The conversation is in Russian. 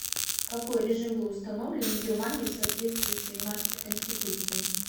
какой режим был установлен в германии в соответствии с веймарской конституцией